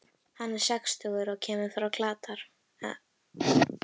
Hann er sextugur og kemur frá Katar.